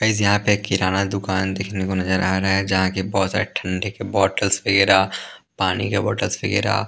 guys यहाँ पे किराना दुकान देखने को नजर आ रहा है जहाँ के बहुत सारे ठंडे के बॉटलस वगैरह पानी के बोतल्स वगैरह --